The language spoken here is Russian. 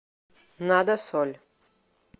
надо соль